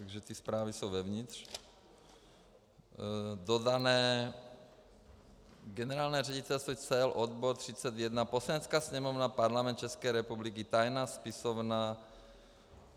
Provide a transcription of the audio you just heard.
Takže ty zprávy jsou vevnitř, dodané Generální ředitelství cel, odbor 31, Poslanecká sněmovna, Parlament České republiky, tajná spisovna.